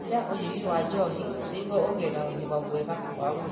Nyihia ũnyui wa njohi nĩguo ũgĩe na ũgima mwega wa mwĩrĩ.